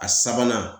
A sabanan